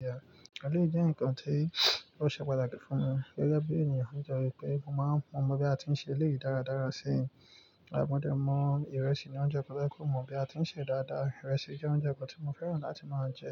Bẹ́ẹ̀ni, eléyìí jẹ́ nǹkan tí wọ́n ṣe pàtàkì fún mi gẹ́gẹ́ bí ènìyàn ni tó re pẹ́ wípé mo máa ń mọ bí a ti ṣe eléyìí dáradára sí i. Mọ dé mo ìrẹsì ní oúnjẹ kan tó yẹ pé mo mọ bí a ti ń sè é dáadáa. Ìrẹsì jẹ́ oúnjẹ kan tí mo fẹ́ràn láti máa jẹ,